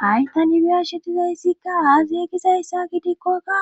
Hay tani biyashe dizayssikka aasi yegizayssa gidikkokka